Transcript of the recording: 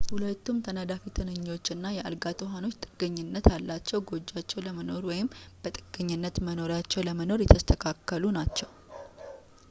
ሁለቱም ተናዳፊ-ትንኞች እና የአልጋ ትኋኖች ጥገኝነት ያላቸው ጎጆአቸው ለመኖር ወይም በጥገኛ መኖሪያቸው ለመኖር የተስተካከሉ ናቸው